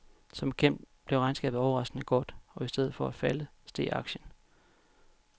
Som bekendt blev regnskabet overraskende godt, og i stedet for at falde, steg aktien.